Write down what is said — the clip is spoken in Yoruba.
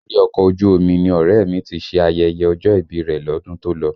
Orí ọkọ̀ ojú omi ni ọ̀rẹ́ ẹ̀ mi ti ṣe ayẹyẹ ọjọ́ ìbí rẹ̀ lọ́dún tó lọ